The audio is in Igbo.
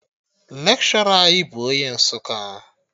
Lekshọra anyị bụ onye Nsụka